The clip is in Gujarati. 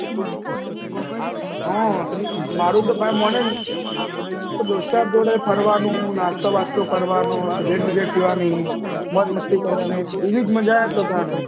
હા માળું તો ભાઈ માને ને એ દોસ્ત જોડે ફરવાનું નાસ્તો વસતો કરવાનું સિગરેટ વિગ્રેટ પીવાની મોજ મસ્તી કરવાની એવી મજા આવે પોતાના